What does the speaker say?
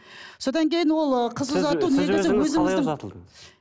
содан кейін ол қыз ұзату